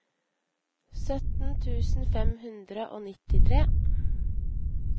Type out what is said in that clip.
sytten tusen fem hundre og nittitre